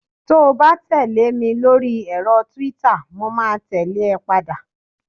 to ba tẹle mi lori ẹrọ twitter mo ma tẹle e padà